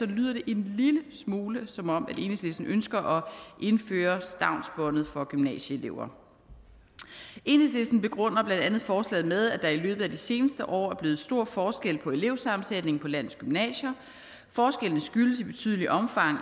lyder det en lille smule som om enhedslisten ønsker at indføre stavnsbåndet for gymnasieelever enhedslisten begrunder blandt andet forslaget med at der i løbet af de seneste år er blevet stor forskel på elevsammensætningen på landets gymnasier forskellene skyldes i betydeligt omfang